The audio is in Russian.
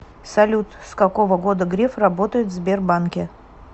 салют с какого года греф работает в сбербанке